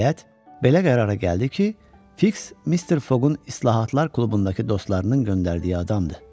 Nəhayət, belə qərara gəldi ki, Fiks Mister Foqun islahatlar klubundakı dostlarının göndərdiyi adamdır.